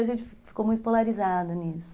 A gente ficou muito polarizado nisso.